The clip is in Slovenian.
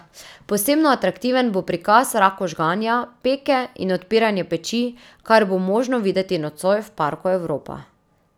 Posebno atraktiven bo prikaz raku žganja, peke in odpiranja peči, kar bo možno videti nocoj v parku Evropa.